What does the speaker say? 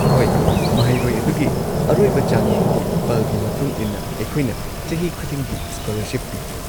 ꯍꯣꯏ, ꯃꯍꯩꯔꯣꯏ ꯑꯗꯨꯒꯤ ꯑꯔꯣꯏꯕ ꯆꯥꯡꯌꯦꯡꯒꯤ ꯐꯜꯒꯤ ꯃꯇꯨꯡ ꯏꯟꯅ ꯑꯩꯈꯣꯏꯅ ꯆꯍꯤ ꯈꯨꯗꯤꯡꯒꯤ ꯁ꯭ꯀꯣꯂꯔꯁꯤꯞ ꯄꯤ꯫